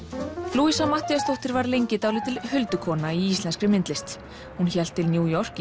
louisa Matthíasdóttir var lengi dálítil huldukona í íslenskri myndlist hún hélt til New York í